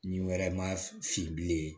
Ni wɛrɛ ma fin bilen